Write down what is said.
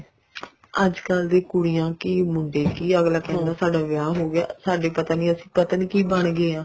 ਅੱਜਕਲ ਦੇ ਕੁੜੀਆਂ ਕੀ ਮੁੰਡੇ ਕੀ ਅਗਲਾ ਕਹਿੰਦਾ ਸਾਡਾ ਵਿਆਹ ਹੋਗਿਆ ਸਾਡੇ ਪਤਾ ਨੀ ਅਸੀਂ ਕੀ ਬਣ ਗਏ ਹਾਂ